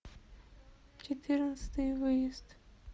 четырнадцатый выезд